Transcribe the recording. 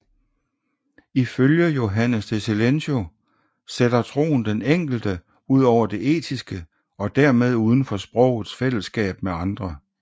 Ifølge Johannes de Silentio sætter troen den enkelte ud over det etiske og dermed uden for sprogets fællesskab med andre